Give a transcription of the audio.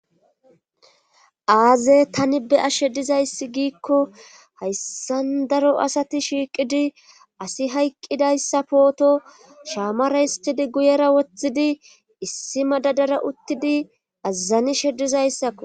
aaze tani be ashshe dizayssi giikko hayssa daro asati shiiqidi asi hayqqidayssa pooto shaamara histidi guyera woththidi issi ma dadara uttidi azazani sheddizayssakko